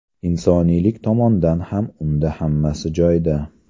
Insoniylik tomondan ham unda hammasi joyida.